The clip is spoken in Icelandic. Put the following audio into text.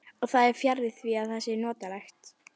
Og það er fjarri því að það sé notalegt.